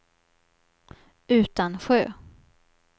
Utansjö